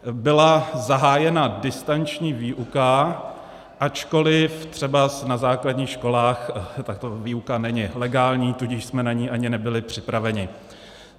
Byla zahájena distanční výuka, ačkoliv třeba na základních školách tato výuka není legální, tudíž jsme na ni ani nebyli připraveni.